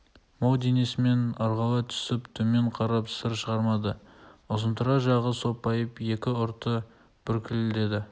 мол денесімен ырғала түсіп төмен қарап сыр шығармады ұзынтұра жағы сопайып екі ұрты бүлкілдеді